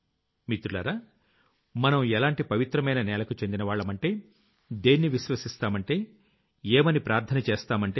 మిత్రులారా మనం ఎలాంటి పవిత్రమైన నేలకు చెందినవాళ్లమంటే దేన్ని విశ్వసిస్తామంటే ఏమని ప్రార్థన చేస్తామంటే